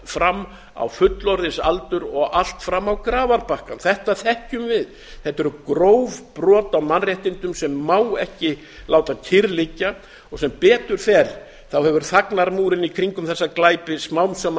fram á fullorðinsaldur og allt fram á grafarbakkann þetta þekkjum við þetta eru gróf brot á mannréttindum sem má ekki láta kyrr liggja og sem betur fer hefur þagnarmúrinn í kringum þessa glæpi smám saman